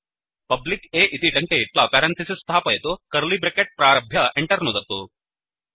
public A इति टङ्कयित्वा parenthesis स्थापयतु कर्लि ब्रेकेट् प्रारभ्य Enter नुदतु